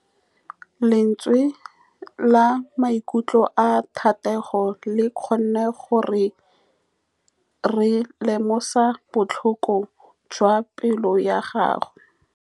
Lentswe la maikutlo a Thategô le kgonne gore re lemosa botlhoko jwa pelô ya gagwe.